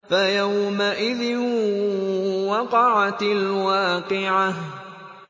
فَيَوْمَئِذٍ وَقَعَتِ الْوَاقِعَةُ